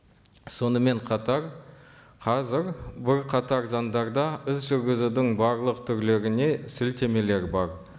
сонымен қатар қазір бірқатар заңдарда іс жүргізудің барлық түрлеріне сілтемелер бар